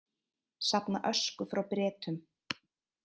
Safna ösku frá Bretum